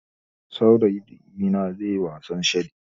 Saurayina zaiyi wasan shaɗi